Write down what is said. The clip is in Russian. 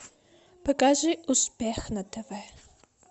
покажи успех на тв